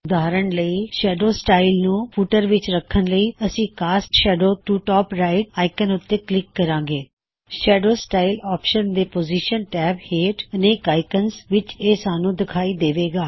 ਉਦਾਹਰਨ ਲਈ shadow style ਨੂੰ ਫੁੱਟਰ ਵਿੱਚ ਰੱਖਣ ਲਈ ਅਸੀ cast shadow to top right cast shadow to top right icon ਉੱਤੇ ਕਲਿੱਕ ਕਰਾਂਗੇ